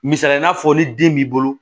Misali n'a fɔ ni den b'i bolo